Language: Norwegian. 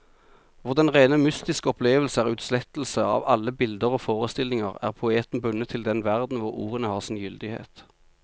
Hvor den rene mystiske opplevelse er utslettelse av alle bilder og forestillinger, er poeten bundet til den verden hvor ordene har sin gyldighet.